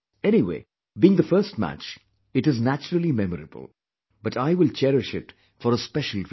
Anyway, being the first match, it is naturally memorable, but I will cherish it for a special reason